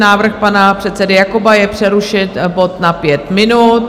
Návrh pana předsedy Jakoba je přerušit bod na pět minut.